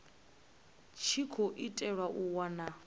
tshi khou itelwa u wana